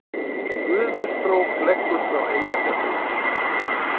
Gufustrók leggur frá Eyjafjallajökli